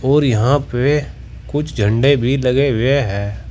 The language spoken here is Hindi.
और यहां पे कुछ झंडे भी लगे हुए हैं।